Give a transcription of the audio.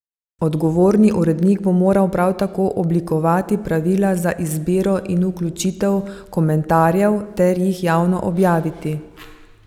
Odgovorni urednik bo moral prav tako oblikovati pravila za izbiro in vključitev komentarjev ter jih javno objaviti.